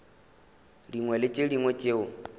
dingwe le tše dingwe tšeo